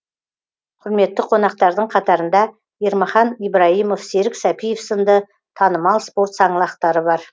құрметті қонақтардың қатарында ермахан ибраимов серік сәпиев сынды танымал спорт саңлақтары бар